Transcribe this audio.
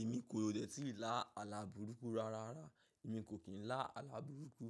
Èmi kò dẹ̀ tí lá àlà burúkú rárá. Èmi kò kín lá àlà burúkú.